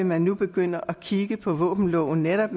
man nu begynde at kigge på våbenloven netop